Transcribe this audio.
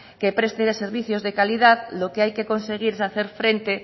que preste servicios de calidad lo que hay que conseguir es hacer frente